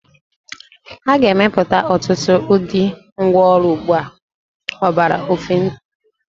A ga-emepụta ọtụtụ ụdị ngwá ọrụ ugbo ọgbara ọfụụ n'ọdịnihu.